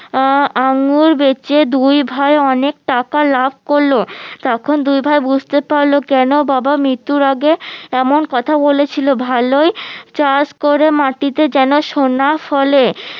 আহ আঙ্গুর বেচে দুই ভাই অনেক টাকা লাভ করলো তখন দুই ভাই বুঝতে পারলো কেনো বাবা মিত্যুর আগে এমন কথা বলেছিলো ভালোই চাষ করে মাটিতে যেনো সোনা ফলে